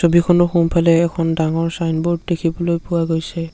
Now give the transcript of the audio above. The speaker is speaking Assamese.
ছবিখনৰ সোঁফালে এখন ডাঙৰ ছাইনবোৰ্ড দেখিবলৈ পোৱা গৈছে।